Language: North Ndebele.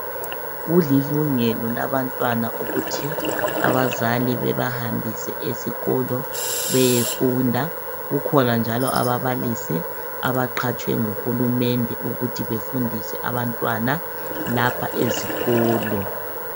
Kulilungelo labantwana ukuthi abazali bebahambise esikolo ukuthi beyefunda, kukhona njalo ababalisi abaqhatshwe ngu Hulumende lapha ezikolo.